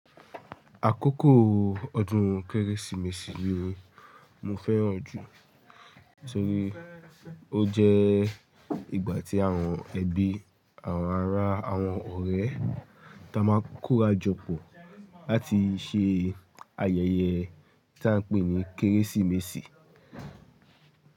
Àkókò ọdún Kérésìmesì ni mo fẹ́ràn jù nítorí ó jẹ́ ìgbà tí àwọn ẹbí, àwọn ará, àwọn ọ̀rẹ́ táa máa kóra jọ pọ̀ láti ṣe ayẹyẹ tí a ń pè ní Kérésìmesì.